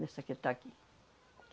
Dessa que está aqui.